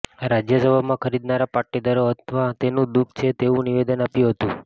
રાજ્યસભામાં ખરીદનારા પાટીદારો હતા તેનું દુઃખ છે તેવું નિવેદન આપ્યું હતું